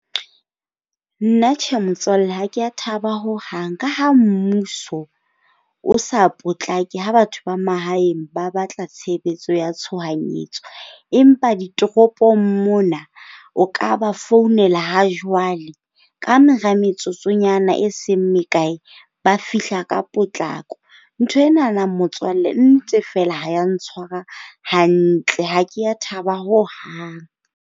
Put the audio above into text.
Nna tjhe, motswalle, ha ke a thaba ho hang. Ka ha mmuso o sa potlake ha batho ba mahaeng ba batla tshebetso ya tshohanyetso, empa ditoropong mona o ka ba founela ha jwale. Ka mora metsotsonyana e seng mekae ba fihla ka potlako. Ntho enana motswalle nnete fela ha e a ntshwara hantle. Ha ke a thaba ho hang.